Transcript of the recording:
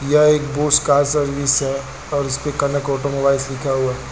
यह एक Bose car service और उसपे कनक ऑटोमोबाइल्स लिखा हुआ है--